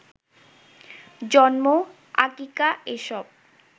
জন্ম, আকিকা এসব